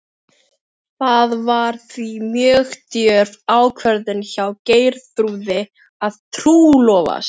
Það var því mjög djörf ákvörðun hjá Geirþrúði að trúlofast